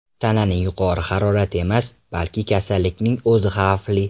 Tananing yuqori harorati emas, balki kasallikning o‘zi xavfli.